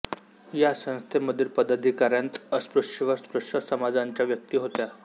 या संस्थेमधील पदाधिकाऱ्यांत अस्पृश्य व स्पृश्य समाजांच्या व्यक्ती होत्या